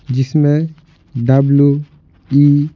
जिसमें --